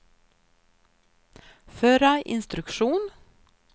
förra instruktion